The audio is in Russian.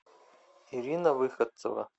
ирина выходцева